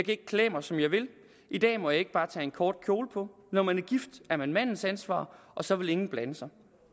ikke klæde mig som jeg vil i dag må jeg ikke bare tage en kort kjole på når man er gift er man mandens ansvar og så vil ingen blande sig